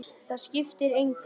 Það skiptir engu